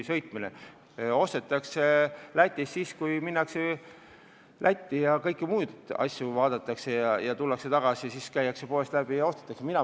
Lätist ostetakse siis, kui sinna minnakse muul põhjusel, ja kui tullakse tagasi, siis käiakse poest läbi ja ostetakse midagi.